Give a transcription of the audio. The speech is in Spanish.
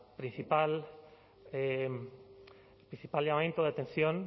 principal llamamiento de atención